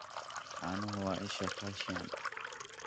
Caanuhu waa isha calcium.